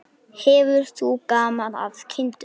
Hefur þú gaman af kindum?